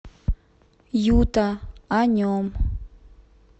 юта о нем